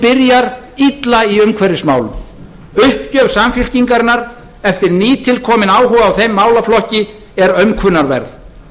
byrjar illa í umhverfismálum uppgjöf samfylkingarinnar eftir ný tilkominn áhuga á þeim málaflokki er aumkunarverð